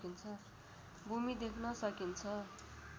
भूमि देख्न सकिन्छ